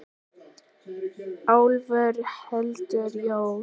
Álfur heldur jól.